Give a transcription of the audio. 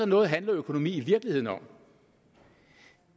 noget handler økonomi i virkeligheden om